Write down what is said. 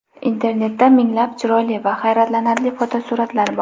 Internetda minglab chiroyli va hayratlanarli fotosuratlar bor.